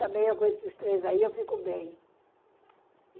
Também eu com esses três aí, eu fico bem.